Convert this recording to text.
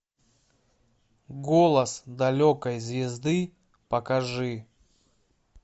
голос далекой звезды покажи